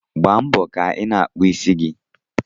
Gbaa mbo ka ịna akpụ ịsị gi